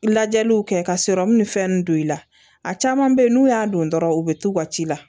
Lajɛliw kɛ ka ni fɛn ninnu don i la a caman bɛ yen n'u y'a don dɔrɔnw u bɛ t'u ka ci la